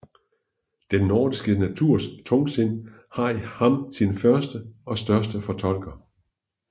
Den nordiske naturs tungsind har i ham sin første og største fortolker